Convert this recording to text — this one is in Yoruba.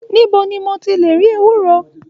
Nibo ni mo ti le ri ewúro?